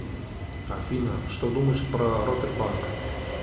афина что думаешь про рокетбанк